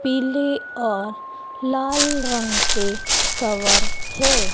पीले और लाल रंग के कवर है।